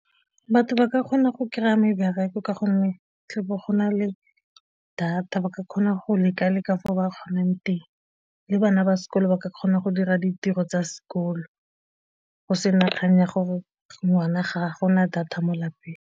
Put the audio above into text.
Batho ba ka kgona go kry-a mebereko ka gonne tle be go na le data ba ka kgona go leka le ka fo ba kgonang teng le bana ba sekolo ba ka kgona go dira ditiro tsa sekolo go se kgang ya gore ngwana ga gona data mo lapeng.